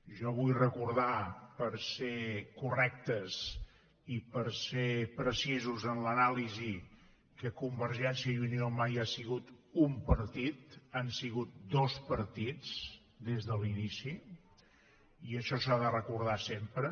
jo vull recordar per ser correctes i per ser precisos en l’anàlisi que convergència i unió mai ha sigut un partit han sigut dos partits des de l’inici i això s’ha de recordar sempre